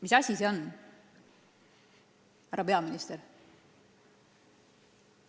Mis asi see on, härra peaminister?